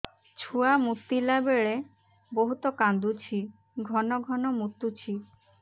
ଛୁଆ ମୁତିଲା ବେଳେ ବହୁତ କାନ୍ଦୁଛି ଘନ ଘନ ମୁତୁଛି